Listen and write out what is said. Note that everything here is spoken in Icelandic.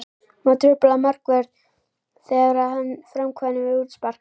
Má trufla markvörð þegar hann framkvæmir útspark?